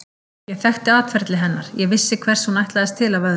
Ég þekkti atferli hennar, ég vissi hvers hún ætlaðist til af öðrum.